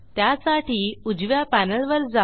त्यासाठी उजव्या पॅनेलवर जा